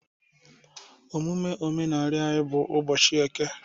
Emume omenala anyị bụ ụbọchị eke